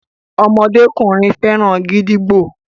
ọmọdékùnrin féràn gídígbò